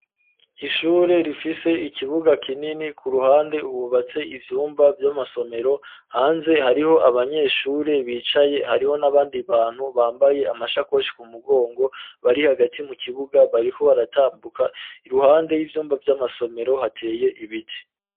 Ishure rifise ikibuga kinini ku ruhande hubatse ivyumba vy'amasomero hanze hariho abanyeshure bicaye hariho n'abandi bantu bambaye amashakoshi ku mugongo bari hagati mu kibuga bariho baratambuka iruhande y'ivyumba vy'amasomero hateye ibiti.